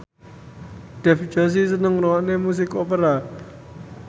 Dev Joshi seneng ngrungokne musik opera